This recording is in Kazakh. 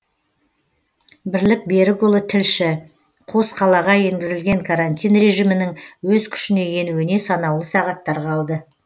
бірлік берікұлы тілші қос қалаға енгізілген карантин режимінің өз күшіне енуіне санаулы сағаттар қалды